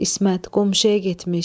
İsmət, qonşuya getmiş.